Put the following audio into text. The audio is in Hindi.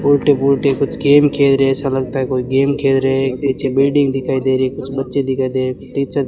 उल्टे-पुल्टे कुछ गेम खेल रहे हैं ऐसा लगता है कोई गेम खेल रहे हैं एक नीचे बिल्डिंग दिखाई दे रही है कुछ बच्चे दिखाई दे रहे हैं टीचर --